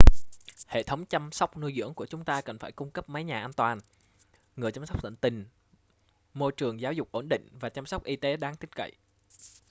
hệ thống chăm sóc nuôi dưỡng của chúng ta cần phải cung cấp mái nhà an toàn người chăm sóc tận tình môi trường giáo dục ổn định và chăm sóc y tế đáng tin cậy